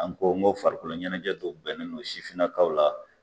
An ko n ko farikolo ɲɛnajɛ dɔ bɛnnen no sifinnakaw la.